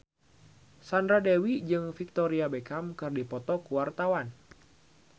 Sandra Dewi jeung Victoria Beckham keur dipoto ku wartawan